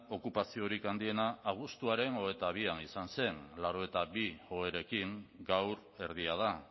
okupaziorik handiena abuztuaren hogeita bian izan zen laurogeita bi oherekin gaur erdia da